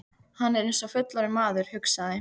Hann er eins og fullorðinn maður, hugsaði